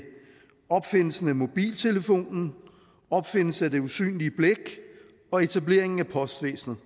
opfindelsen af mobiltelefonen opfindelsen af det usynlige blæk og etableringen af postvæsenet